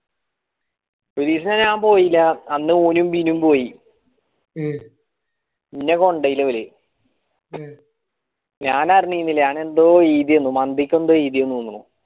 ഒരീസം ഞാൻ പോയില്ല അന്നു ബിനും ഒന്നും പോയി പിന്നെ കൊണ്ടായില്ല ഞാൻ അറിഞ്ഞീല ഞാൻ എന്തോ എയ്‌തെന് എന്തോ എയ്‌തെണന്ന് തോന്നുണു